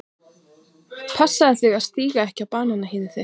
Passaðu þig að stíga ekki á bananahýðið þitt.